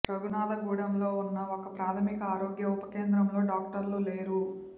రఘునాధగూడెంలో ఉన్న ఒక ప్రాథమిక ఆరోగ్య ఉప కేంద్రంలో డాక్టర్లు లేరు